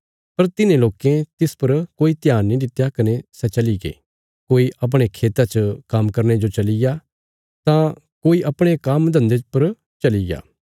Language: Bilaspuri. पर तिन्हें लोकें तिस पर कोई ध्यान नीं दित्या कने सै चलीगे कोई अपणे खेता च काम्म करने जो चलिग्या तां कोई अपणे काम्म धन्दे पर चलिग्या